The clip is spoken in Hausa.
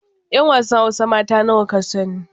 'Yan wasan hausa mata nawa ka sani